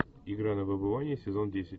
игра на выбывание сезон десять